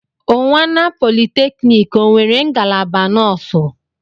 Unwana polytechnic o nwere ngalaba nọọsụ?